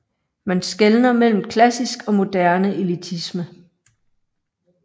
Man skelner mellem klassisk og moderne elitisme